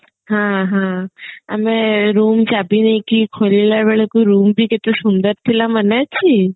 ହଁ ହଁ ଆମେ room ଚାବି ନେଇକି ଖୋଲିଲା ବେଳକୁ ରୁମ ବି କେତେ ସୁନ୍ଦର ଥିଲା ମନେ ଅଛି